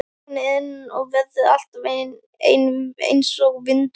Hún er ein og verður alltaf ein einsog vindurinn.